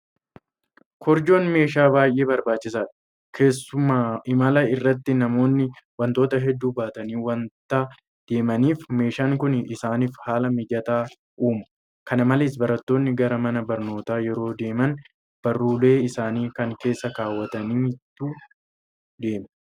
Korojoon meeshaa baay'ee barbaachisaadha. Keessumaa imala irratti namoonni waantota hedduu baatanii waanta deemaniif meeshaan kun isaaniif haala mijataa uuma. Kana malees barattoonni gara mana barnootaa yeroo adeeman barullee isaanii kana keessa keewwataniitu deemu.